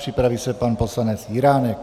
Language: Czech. Připraví se pan poslanec Jiránek.